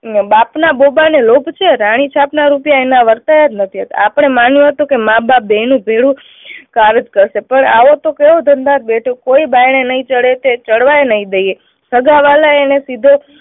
બાપના લોભ છે, રાણી છાપના રૂપિયા એના વર્તાયા જ નથી. આપણે માન્યું હતું કે માં બાપ બેયનું ભેરુ કરશે પણ આવું તો કેવું કોઈ બારણે નહી ચડે કે ચડવા પણ નહી દઈએ. સગાવ્હાલા એને સીધો